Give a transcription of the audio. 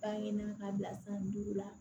An ɲe ka bila san duuru la